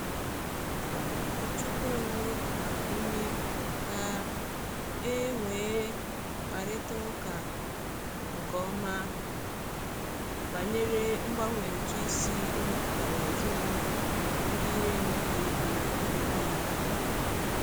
Onye ụkọchukwu anyị gbara ume ka e nwee mkparịta ụka nke ọma banyere mgbanwe ụtụ isi na-emetụta ezinụlọ ndị na-enweghị ego. na-enweghị ego.